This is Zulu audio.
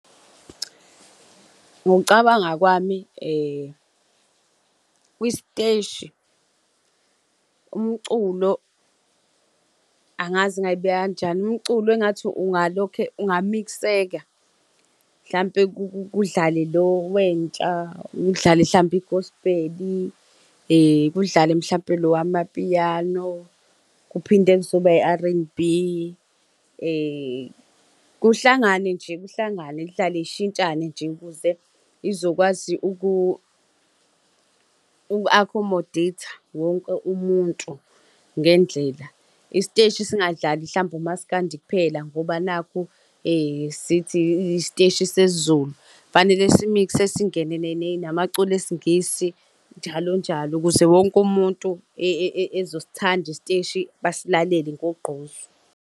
Ngokucabanga kwami kwisteshi, umculo, angazi ngingayibeka kanjani, umculo engathi ungalokhe, ungamikseka. Mhlampe kudlale lo wentsha, kudlale hlampe igosbheli, kudlale mhlampe lo wamapiyano, kuphinde kuzoba i-R_N_B. Kuhlangane nje, kuhlangane, kudlale zishintshane nje, ukuze izokwazi uku-accomodate-a wonke umuntu ngendlela. Isiteshi singadlali hlampe umaskandi kuphela ngoba nakhu sithi, isiteshi sesiZulu. Fanele si-mix-e, singene namaculo esiNgisi njalo njalo, ukuze wonke umuntu ezosithanda isiteshi basilalele ngogqozu.